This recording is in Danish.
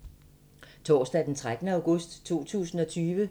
Torsdag d. 13. august 2020